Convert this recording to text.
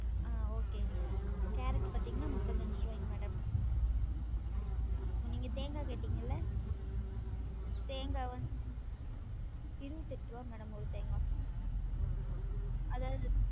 ஆஹ் okay ங்க madam carrot பாத்திங்கனா முப்பத்தி அஞ்சு ருவாய்ங்க madam நீங்க தேங்கா கேட்டிங்கல்ல? தேங்கா வந்~ இருவத்தி எட்டு ருவா madam ஒரு தேங்கா அதாவது